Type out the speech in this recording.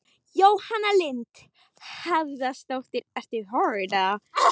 Jóhann Hlíðar Harðarson: Hvaða skoðanakönnun ertu að tala um?